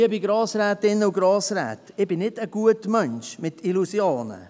Liebe Grossrätinnen und Grossräte, ich bin kein Gutmensch mit Illusionen.